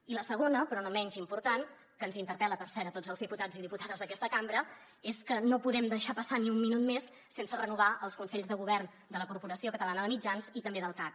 i la segona però no menys important que ens interpel·la per cert a tots els diputats i diputades d’aquesta cambra és que no podem deixar passar ni un minut més sense renovar els consells de govern de la corporació catalana de mitjans i també del cac